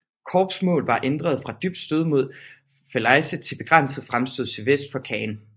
Korps mål var ændret fra et dybt stød mod Falaise til et begrænset fremstød sydvest for Caen